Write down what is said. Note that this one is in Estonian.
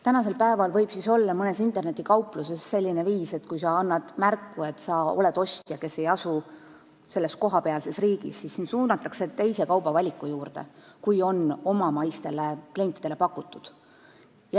Tänasel päeval võib olla mõnes internetikaupluses selline viis, et kui sa annad märku, et sa oled ostja, kes ei asu kohapealses riigis, siis sind suunatakse teise kaubavaliku juurde kui see, mida on pakutud omamaistele klientidele.